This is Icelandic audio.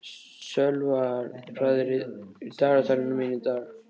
Sölvar, hvað er í dagatalinu í dag?